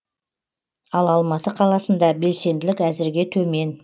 ал алматы қаласында белсенділік әзірге төмен